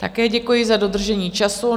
Také děkuji za dodržení času.